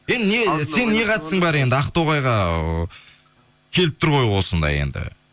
енді сенің не қатысың бар енді ақтоғайға келіп тұр ғой осындай енді